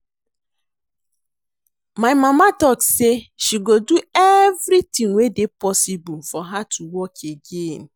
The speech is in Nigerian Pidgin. My mama talk say she go do everything wey dey possible for her to walk again